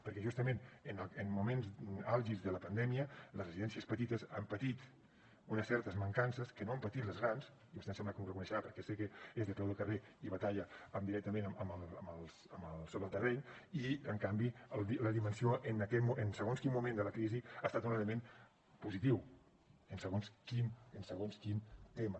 perquè justament en moments àlgids de la pandèmia les residències petites han patit unes certes mancances que no han patit les grans i vostè em sembla que m’ho reconeixerà perquè sé que és de peu de carrer i batalla directament sobre el terreny i en canvi la dimensió en segons quin moment de la crisi ha estat un element positiu en segons quin tema